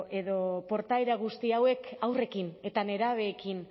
edo portaera guzti hauek haurrekin eta nerabeekin